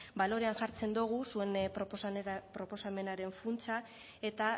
balorean jartzen dugu zuen proposamenaren funtsa eta